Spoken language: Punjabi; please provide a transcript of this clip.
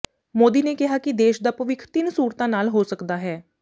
ਮੋਦੀ ਨੇ ਕਿਹਾ ਕਿ ਦੇਸ਼ ਦਾ ਭਵਿੱਖ ਤਿੰਨ ਸੂਤਰਾਂ ਨਾਲ ਹੋ ਸਕਦਾ ਹੈ